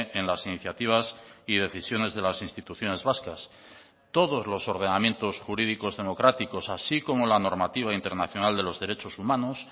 en las iniciativas y decisiones de las instituciones vascas todos los ordenamientos jurídicos democráticos así como la normativa internacional de los derechos humanos